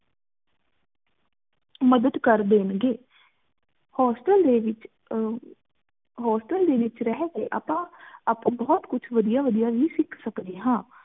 ਮਦਦ ਕਰ ਦੇਣ ਗੇ hostel ਦੇ ਵਿਚ ਅਹ hostel ਦੇ ਵਿਚ ਰਹ ਕ ਆਪਾ ਆਪਾਂ ਬੋਹਤ ਕੁਝ ਵਧਿਆ ਵਧਿਆ ਵੀ ਸੀਖ ਸਕਦੇ ਹਾਂਨ